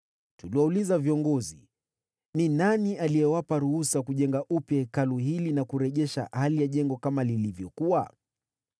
Tuliwauliza viongozi, “Ni nani aliyewapa ruhusa kujenga upya Hekalu hili na kurejeza hali ya jengo kama lilivyokuwa?”